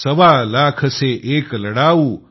सवा लाख से एक लड़ाऊँ